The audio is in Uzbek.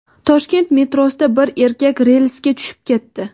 Toshkent metrosida bir erkak relsga tushib ketdi.